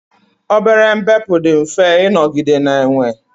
obere mbepụ dị mfe ịnọgide na-enwe